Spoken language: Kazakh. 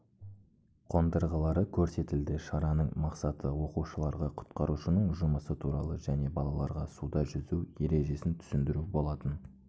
қондырғылары көрсетілді шараның мақсаты оқушыларға құтқарушының жұмысы туралы және балаларға суда жүзу ережесін түсіндіру болатын